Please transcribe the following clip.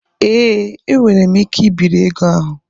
Ee, enwere m ike ibiri ego ahụ.